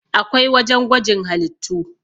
akwai wajen gwajin halittu